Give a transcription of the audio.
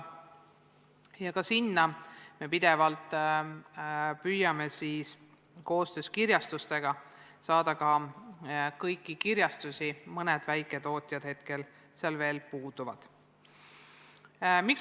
Ja ka sinna me püüame pidevalt koostöös kirjastustega saada ka kõiki kirjastusi, mõned väiketootjad sealt praegu veel puuduvad.